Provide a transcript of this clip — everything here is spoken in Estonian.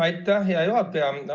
Aitäh, hea juhataja!